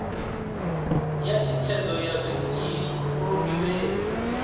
ya thikhedzo ya zwikili phurogireme